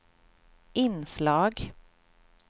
inslag